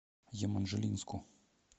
еманжелинску